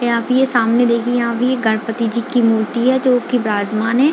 यहाँ पे ये सामने देखिये यहाँ पे ये गणपति जी की मूर्ति है जो की बिराज मान है।